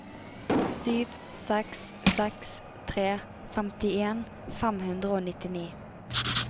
sju seks seks tre femtien fem hundre og nitti